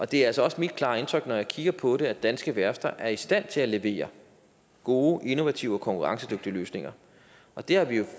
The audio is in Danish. det er altså også mit klare indtryk når jeg kigger på det at danske værfter er i stand til at levere gode innovative og konkurrencedygtige løsninger det har vi jo